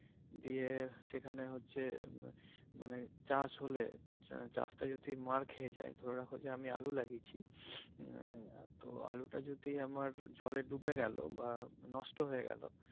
দিয়ে সেখানে হচ্ছে উম মানে চাষ হলে চাষটা যদি মার খেতে যায় ধরে রাখো যে আমি আলু লাগিয়েছি আহ তো আলু টা যদি আমার জলে ডুবে গেলো বা মানে নষ্ট হয়ে গেলো।